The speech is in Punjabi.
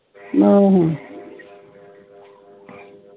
ਹੈ